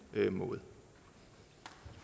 måde